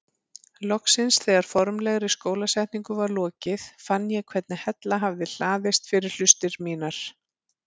Loksins þegar formlegri skólasetningu var lokið fann ég hvernig hella hafði hlaðist fyrir hlustir mínar.